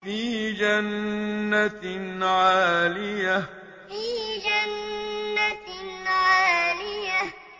فِي جَنَّةٍ عَالِيَةٍ فِي جَنَّةٍ عَالِيَةٍ